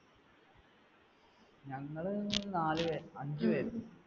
ഞങ്ങൾ നാല് പേര് അഞ്ച് പേർ